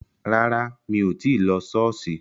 Rárá, mí ò tí lo Ṣọọṣi